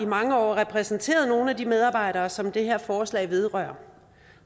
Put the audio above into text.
mange år repræsenteret nogle af de medarbejdere som det her forslag vedrører